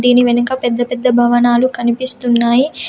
దీని వెనక పెద్ద పెద్ద భవనాలు కనిపిస్తున్నాయి.